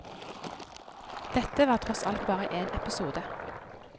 Dette var tross alt bare en episode.